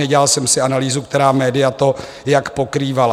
Nedělal jsem si analýzu, která média to jak pokrývala.